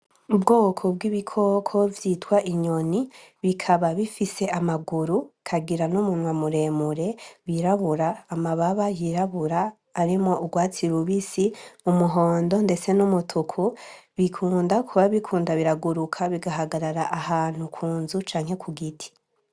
Ubwoko bw'ibikoko vyitwa inyoni bikaba bifise ,amaguru ,bukagira n' umunwa muremure wirabura ,amababa yirabura arimwo urwatsi rubisi ,umuhondo ndeste n'umutuku bikunda kuba biriko biraguruka bigahagarara ahantu ku nzu canke ahantu kugiti.